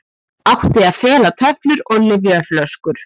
Átti að fela töflur og lyfjaflöskur